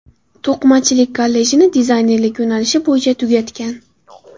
To‘qimachilik kollejini dizaynerlik yo‘nalishi bo‘yicha tugatgan.